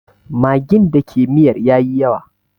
Magin da ke miyar ya yi yawa